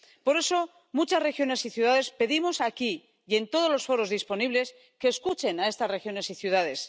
Por eso, muchas regiones y ciudades pedimos aquí, y en todos los foros disponibles, que escuchen a estas regiones y ciudades.